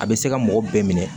A bɛ se ka mɔgɔ bɛɛ minɛ